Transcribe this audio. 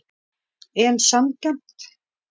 En sanngjarnt?